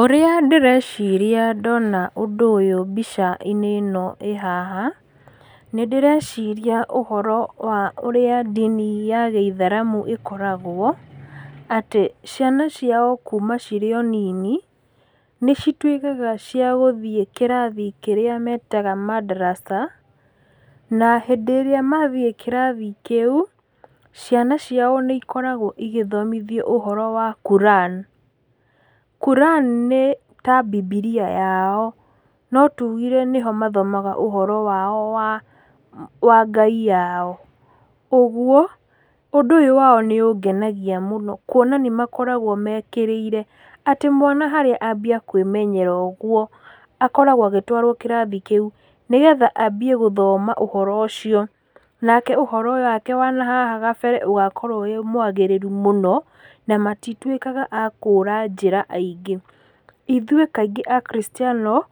Ũrĩa ndĩreciria ndona ũndũ ũyũ mbica-inĩ ĩno ĩ haha, nĩndĩreciria ũhoro wa ũrĩa ndini ya gĩithĩramu ĩkoragwo, atĩ ciana ciao kuuma cirĩ o nini, nĩcituĩkaga cia gũthiĩ kĩrathi kĩrĩa metaga madarasa, na hĩndĩ ĩrĩa mathiĩ kĩrathi kĩu ciana ciao nĩ ikoragwo igĩthomithio ũhoro wa Kuran. Kuran nĩta bibilia yao, no tugire nĩho mathomaga ũhoro wao wa Ngai yao. Ũgwo ũndũ ũyũ wao nĩũngenagia mũno kwona nĩmakoragwo mekĩrĩire atĩ mwana harĩa ambia kwĩmenyera ũgwo akoragwo agĩtwarwo kĩrathi kĩu nĩgetha ambie gũthoma ũhoro ũcio, nake ũhoro wake wa nahaha gabere ũgakorwo wĩ mwagĩrĩru mũno na matitwĩkaga a kũũra njĩra aingĩ. Ithuĩ kaingĩ akristiano